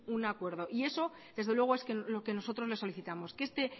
un acuerdo y eso desde luego es lo que nosotros le solicitamos que este